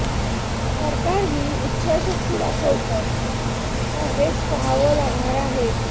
सरकार ही इच्छाशक्ती दाखवतं का हेच पहावं लागणार आहे